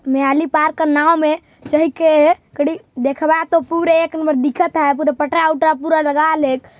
Mehli park के नाँव में चहि के कड़ी देख बा तो पूरे एक नंबर दिखत है पूरे पटरा वटरा पूरा लगा लेक--